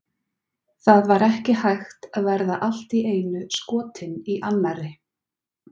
Það var ekki hægt að verða allt í einu skotinn í annarri.